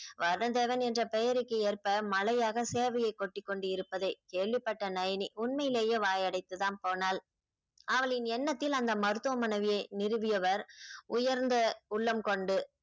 வதன்தேவன் என்ற பெயருக்கு ஏற்ப மலையாக சேவையை கொட்டிக் கொண்டு இருப்பதை கேள்விப்பட்ட நயனி உண்மையிலேயே வாயடைத்து தான் போனாள் அவளின் எண்ணத்தில் அந்த மருத்துவமனையை நிறுவியவர் உயர்ந்த உள்ளம் கொண்டு